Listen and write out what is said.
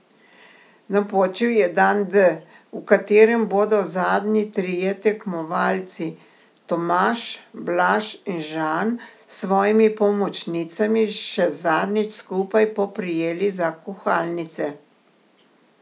Napočil je dan D, v katerem bodo zadnji trije tekmovalci Tomaš, Blaž in Žan s svojimi pomočnicami še zadnjič skupaj poprijeli za kuhalnice.